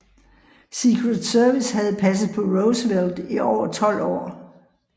Secret Service havde passet på Roosevelt i over 12 år